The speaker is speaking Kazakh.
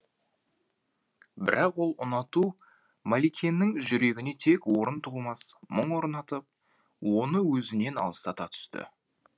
бірақ ол ұнату мәликенің жүрегіне тек орын толмас мұң орнатып оны өзінен алыстата түсті